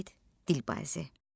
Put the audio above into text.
Mirvarid Dilbazi.